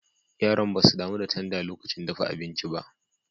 Yaran ba su damu da tanda lokacin dafa abinci ba.